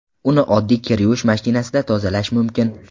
Uni oddiy kir yuvish mashinasida tozalash mumkin.